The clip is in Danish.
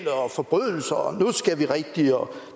og forbrydelser og nu skal vi rigtig og